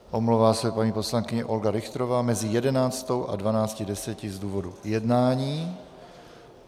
Omlouvá se paní poslankyně Olga Richterová mezi 11.00 a 12.10 z důvodu jednání.